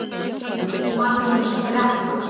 Magnús gretti sig.